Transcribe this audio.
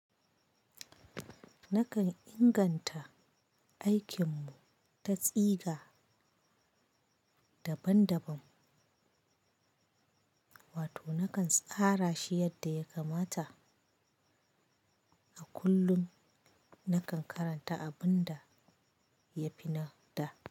Nakan inganta aikin mu ta tsiga daban-daban, wato nakan tsara shi yadda ya kamata. A kullum nakan karanta abun da ya fi na da.